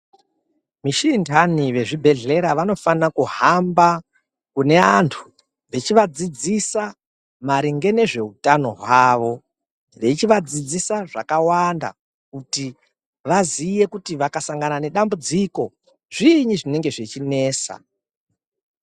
Vechintani, vezvibhedhlera vanofane kuhamba kune vantu vechivadzidzisa maringe nezveutano hwavo, veichivadzidzisa zvakawanda kuti vaziye kuti vakasangana nedambudziko, zviinyi zvinenge zvichinesa.